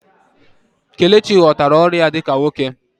Kelechi ghọtara ọrụ ya dị ka nwoke